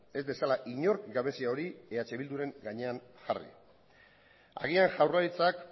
ez dezala inork gabezia hori eh bilduren gainean jarri agian jaurlaritzak